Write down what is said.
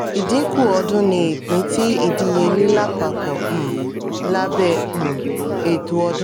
ìdínkù ọdún ni ìpín ti idiyele lápapọ̀ um labẹ um ètò ọdún.